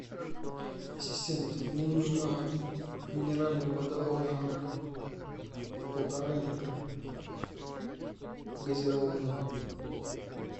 ассистент мне нужна минеральная вода волжанка полтора литра газированная